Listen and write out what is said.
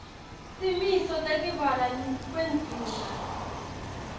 timiso tekubhalwa kwendzima